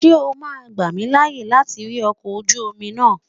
Ṣé o ma gbà mí láyè láti rí ọkọ̀ ojú omi náà?